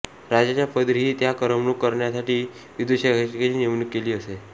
राजाच्या पदरीही त्याची करमणूक करण्यासाठी विदूषकाची नेमणूक केलेली असे